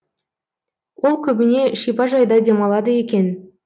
ол көбіне шипажайда демалады екен